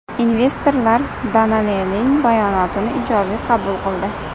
Investorlar Danone’ning bayonotini ijobiy qabul qildi.